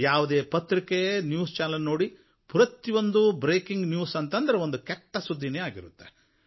ಯಾವುದೇ ಪತ್ರಿಕೆ news channel ನೋಡಿ ಪ್ರತಿಯೊಂದು ಬ್ರೇಕಿಂಗ್ ನ್ಯೂಸ್ ಅಂದರೆ ಒಂದು ಕೆಟ್ಟ ಸುದ್ದಿಯೇ ಆಗಿರುತ್ತೆ